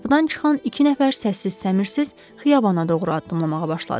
Qapıdan çıxan iki nəfər səssiz səmirsiz xiyabana doğru addımlamağa başladı.